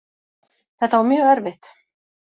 Þetta var mjög erfitt